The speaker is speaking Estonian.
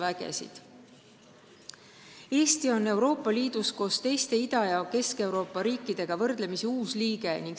Eesti on võrdlemisi uus liige Euroopa Liidus nagu ka teised Ida- ja Kesk-Euroopa riigid.